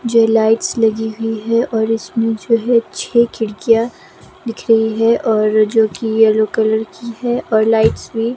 जो लाइट्स लगी हुई हैं और इसमें जो है छह खिड़कियां दिख रही है और जो कि येलो कलर की है और लाइट्स भी --